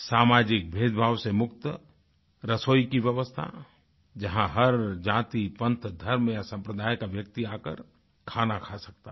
सामाजिक भेदभाव से मुक्त रसोई की व्यवस्था जहाँ हर जाति पंथ धर्म या सम्प्रदाय का व्यक्ति आकर खाना खा सकता था